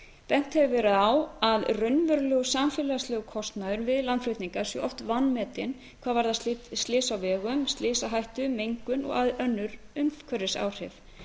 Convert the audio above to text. bent hefur verið á að raunverulegur samfélagslegur kostnaður við landflutninga sé oft vanmetinn hvað varðar slit á vegum slysahættu mengun og önnur umhverfisáhrif